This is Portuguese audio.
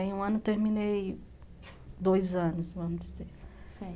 Em um ano terminei dois anos, vamos dizer.